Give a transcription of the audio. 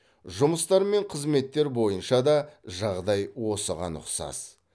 жұмыстар мен қызметтер бойынша да жағдай осыған ұқсас